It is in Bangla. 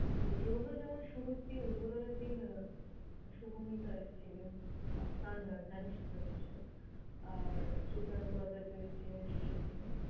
তো এবছর যেমন শুরুর দিন উদ্ভোদনের দিন শুভমিতা এসেছিলেন। গান গান জানিস তো নিশ্চই! আর সুকান্ত আচার্য্য এসেছিলেন শেষের দিন।